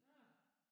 Nårh